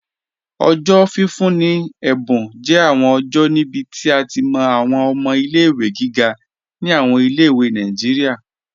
Ọjọ́ fífún ni è̩bùn jẹ́ awọn ọjọ́ níbí tí a ti mọ́ awọn ọmọ̀ ilé-ìwé gígà ni awọn ilé-ìwé Nàìjíríà.